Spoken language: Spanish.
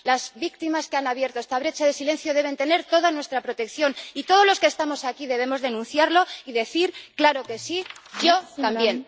Las víctimas que han abierto esta brecha de silencio deben tener toda nuestra protección, y todos los que estamos aquí debemos denunciarlo y decir, claro que sí, Yo también.